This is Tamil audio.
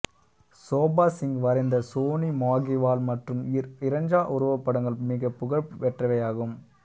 சோபா சிங் வரைந்த சோனி மாகிவால் மற்றும் இர் இரஞ்சா உருவப்படங்கள் மிகப் புகழ் பெற்றவையாகும்